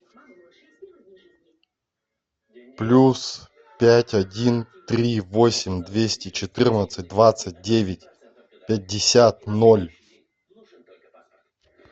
плюс пять один три восемь двести четырнадцать двадцать девять пятьдесят ноль